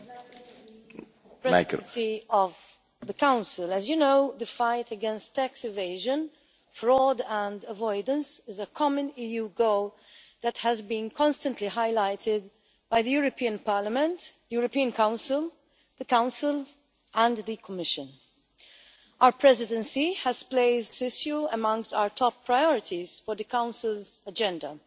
Mr President, Presidency of the Council. As you know, the fight against tax evasion, fraud and avoidance is a common EU goal that has been constantly highlighted by the European Parliament, the European Council, the Council and the Commission. Our Presidency has placed this issue amongst our top priorities for the Council's agenda.